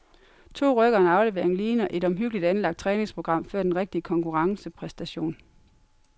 To ryk og en aflevering ligner et omhyggeligt anlagt træningsprogram før den rigtige konkurrencepræstation.